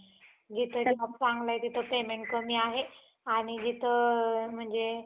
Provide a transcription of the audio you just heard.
जिथं job चांगलं आहे तिथं payment कमी आहे आणि जिथं म्हणजे